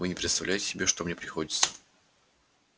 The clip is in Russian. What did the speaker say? вы не представляете себе что мне приходится